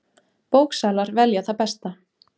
Bóksalar velja það besta